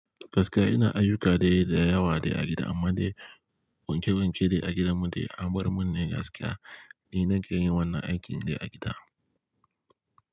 Gaskiya ina ayyuka dai dayawa dai a gida, amma dai wanke wanke de a gidan mu dai, anbar mun ne gaskiya ina ke yin wannan aikin ne a gida.